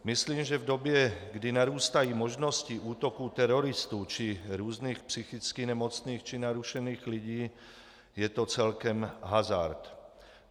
Myslím, že v době, kdy narůstají možnosti útoků teroristů či různých psychicky nemocných či narušený lidí, je to celkem hazard.